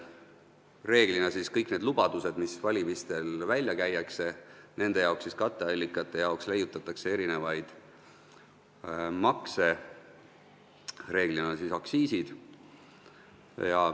Reeglina leiutatakse kõigi nende lubaduste täitmiseks, mis valimistel välja on käidud, nende katteallikate jaoks erinevaid makse, tavaliselt tõstetakse aktsiise.